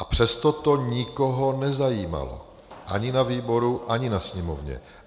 A přesto to nikoho nezajímalo, ani na výboru, ani ve Sněmovně.